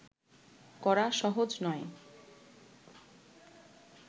করা সহজ নয়